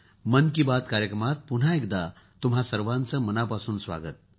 मन की बात कार्यक्रमात पुन्हा एकदा तुम्हा सर्वांचे मनापासून स्वागत